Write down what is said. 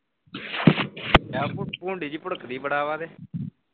ਯਾਰ ਉਹ ਭੁੰ~ਭੁੰਡੀ ਜਹੀ ਭੁੜਕਦੀ ਬਹੁਤ ਹੈ ਬੜਾ ਵਾ ਤੇ